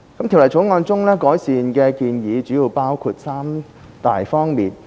《條例草案》中的改善建議主要包括三大方面。